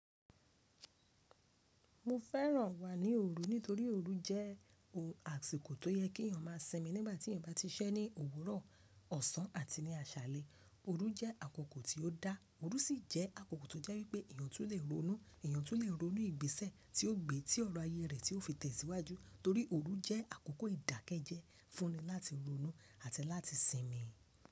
Mo fẹ́ràn wà ní òru nítorí òru jẹ́ ohun àsìkò tó yẹ kí èèyàn má a sinmi nígbàtí èèyàn bá ti ṣẹ́ ní òwúrọ̀, ọ̀sán àti ní àṣálẹ́. Òru jẹ́ àkókò tí ó dá, òru sì jẹ́ àkókò tó jẹ́ wípẹ́ èèyàn tún le ronú, èèyàn tún le ronú ìgbésẹ̀ tí ó gbé tí ọ̀rọ̀ ayé rẹ̀ tí ó fi tẹ̀síwájú, torí òru jẹ́ àkókò ìdákẹ́jẹ́ fún ni láti ronú àti láti sinmi.